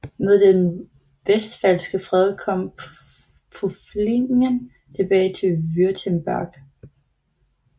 Med den westfalske fred kom Pfullingen tilbage til Württemberg